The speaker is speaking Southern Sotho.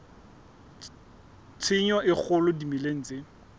tshenyo e kgolo dimeleng tse